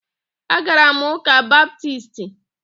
Agara m ụ́kà Baptisti